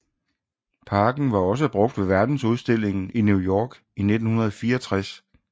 Parken var også brugt ved verdensudstillingen i New York i 1964